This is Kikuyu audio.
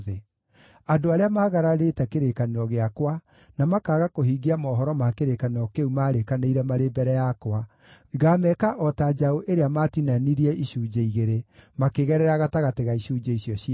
Andũ arĩa magararĩte kĩrĩkanĩro gĩakwa, na makaaga kũhingia mohoro ma kĩrĩkanĩro kĩu maarĩkanĩire marĩ mbere yakwa, ngaameka o ta njaũ ĩrĩa maatinanirie icunjĩ igĩrĩ, makĩgerera gatagatĩ ga icunjĩ icio ciayo.